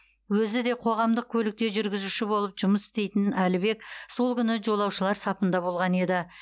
өзі де қоғамдық көлікте жүргізуші болып жұмыс істейтін әлібек сол күні жолаушылар сапында болған еді